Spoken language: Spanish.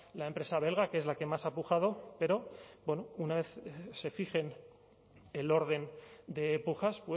la empresa belga que es la que más ha pujado pero bueno una vez se fije el orden de pujas